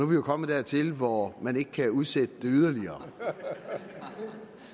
vi jo kommet dertil hvor man ikke kan udsætte det yderligere